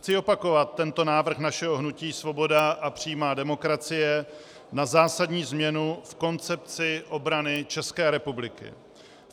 Chci opakovat tento návrh našeho hnutí Svoboda a přímá demokracie na zásadní změnu v koncepci obrany České republiky.